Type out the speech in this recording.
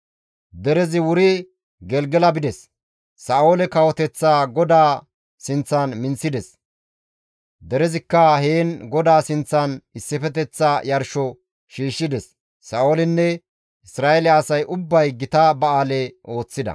Derezi wuri Gelgela bides; Sa7oole kawoteththaa GODAA sinththan minththides; derezikka heen GODAA sinththan issifeteththa yarsho shiishshides; Sa7oolinne Isra7eele asay ubbay gita ba7aale ooththida.